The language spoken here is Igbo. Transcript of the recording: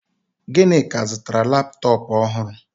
Ginika zụtara laptọọpụ ọhụrụ